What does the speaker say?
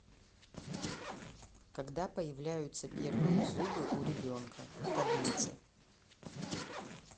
когда появляются первые зубы у ребенка таблица